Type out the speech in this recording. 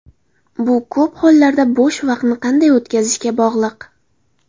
Bu ko‘p hollarda bo‘sh vaqtni qanday o‘tkazishga bog‘liq.